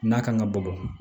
N'a kan ka bɔ